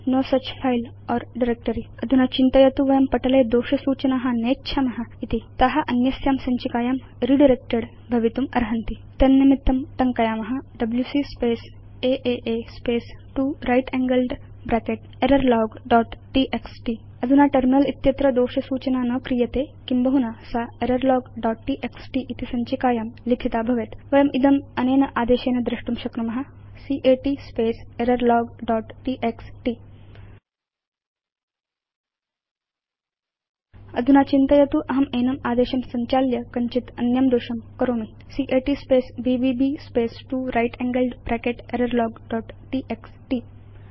ईदृशी सञ्चिका संधारिका वा नास्ति इति अधुना चिन्तयतु वयं पटले दोष सूचना नेच्छाम इति ता अन्यस्यां सञ्चिकायां रिडायरेक्टेड् भवितुम् अर्हन्ति तन्निमित्तं टङ्कयाम WC space a space 2 right angled bracket error log dot TXT अधुना टर्मिनल उपरि दोष सूचना न क्रियते किं बहुना सा एररलॉग दोत् टीएक्सटी इति सञ्चिकायां लिखिता भवेत् वयम् इदम् अनेन आदेशेन द्रष्टुं शक्नुम cat space error log dot TXT अधुना चिन्तयतु अहं एनम् आदेशं संचाल्य कञ्चित् अन्यं दोषं करोमि cat space BBB space 2 right angled bracket error log dot TXT